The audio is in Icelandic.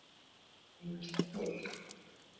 Þar kemur ýmislegt til.